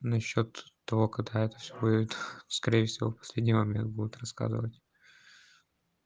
насчёт того когда это всё это скорее всего в последний момент будет рассказывать